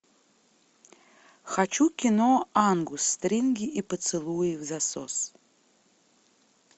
хочу кино ангус стринги и поцелуи взасос